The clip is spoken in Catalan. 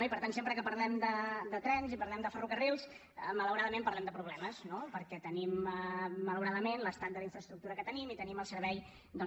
i per tant sempre que parlem de trens i parlem de ferrocarrils malauradament parlem de problemes perquè tenim malauradament l’estat de la infraestructura que tenim i tenim el servei que tenim